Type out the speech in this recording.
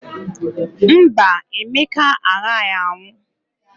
Mba, Emeka agaghị anwụ.